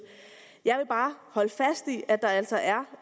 jeg vil bare holde fast i at der altså er